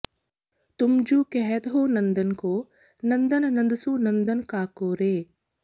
ਤੁਮ ਜੁ ਕਹਤ ਹਉ ਨੰਦ ਕੋ ਨੰਦਨੁ ਨੰਦ ਸੁ ਨੰਦਨੁ ਕਾ ਕੋ ਰੇ